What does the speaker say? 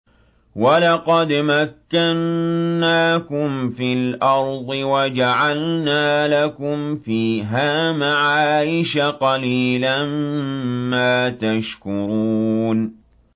وَلَقَدْ مَكَّنَّاكُمْ فِي الْأَرْضِ وَجَعَلْنَا لَكُمْ فِيهَا مَعَايِشَ ۗ قَلِيلًا مَّا تَشْكُرُونَ